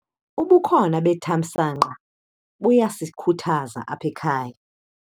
Ubukhona bethamsanqa buyasikhuthaza apha ekhaya.